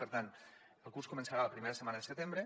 per tant el curs començarà la primera setmana de setembre